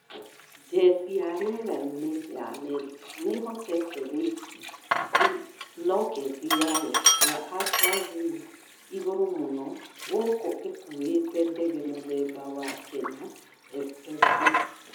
Jesi ya rĩera-inĩ ya Amerika nĩ ihotete gũikia roketi yayo ya atlas V igũrũ mũno gũkũ ĩkuĩte ndege mũthemba wa Kenya -FFB